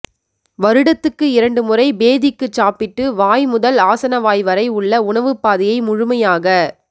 வருடத்துக்கு இரண்டு முறை பேதிக்குச் சாப்பிட்டு வாய் முதல் ஆசனவாய்வரை உள்ள உணவுப் பாதையை முழுமையாகச்